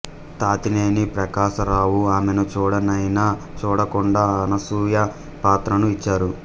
తాతినేని ప్రకాశరావు ఆమెను చుడనైనా చూడకుండా అనసూయ పాత్రను ఇచ్చారు